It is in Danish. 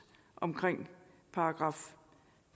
omkring §